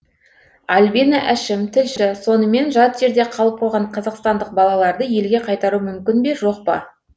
альбина әшім тілші сонымен жат жерде қалып қойған қазақстандық балаларды елге қайтару мүмкін бе жоқ па